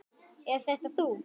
Er þetta þú?